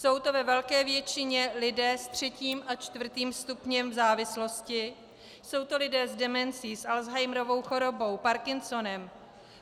Jsou to ve velké většině lidé s třetím a čtvrtým stupněm závislosti, jsou to lidé s demencí, s Alzheimerovou chorobou, Parkinsonem,